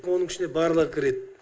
оның ішіне барлығы кіреді